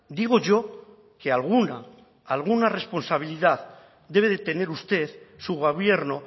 digo yo que alguna alguna responsabilidad debe de tener usted su gobierno